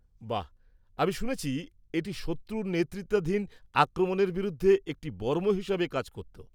বাহ। আমি শুনেছি এটি শত্রুর নেতৃত্বাধীন আক্রমণের বিরুদ্ধে একটি বর্ম হিসেবে কাজ করত।